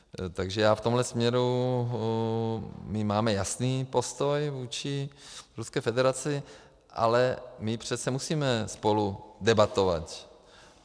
Takže já v tomhle směru, my máme jasný postoj vůči Ruské federaci, ale my přece musíme spolu debatovat.